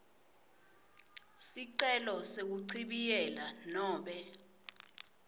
sicelo sekuchibiyela nobe